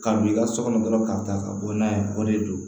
Ka b'i ka so kɔnɔ dɔrɔn k'a ta ka bɔ n'a ye o de do